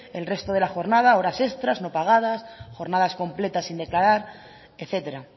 el resto de la jornada horas extras no pagadas jornadas completas sin declarar etcétera